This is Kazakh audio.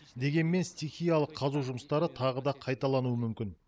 дегенмен стихиялық қазу жұмыстары тағы да қайталануы мүмкін